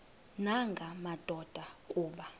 nanga madoda kuba